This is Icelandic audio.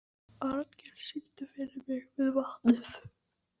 Arngils, syngdu fyrir mig „Við vatnið“.